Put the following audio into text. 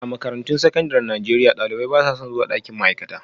A makarantun sakandaren Najeriya, ɗalibai ba sa son zuwa ɗakin ma'aikata